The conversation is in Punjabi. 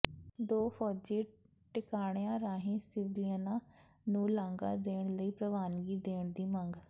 ਦੋ ਫੌਜੀ ਟਿਕਾਣਿਆਂ ਰਾਹੀਂ ਸਿਵਲੀਅਨਾਂ ਨੂੰ ਲਾਂਘਾ ਦੇਣ ਲਈ ਪ੍ਰਵਾਨਗੀ ਦੇਣ ਦੀ ਮੰਗ